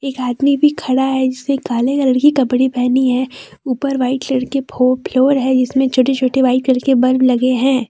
एक आदमी भी खड़ा है जिसने काले कलर के कपड़े पहनी है ऊपर वाइट कलर के फो फ्लोर है जिसमें छोटे छोटे व्हाइट कलर के बल्ब लगे हैं।